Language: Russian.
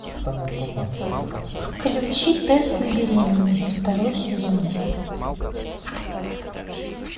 включи тест на беременность второй сезон